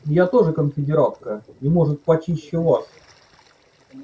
я тоже конфедератка и может почище вас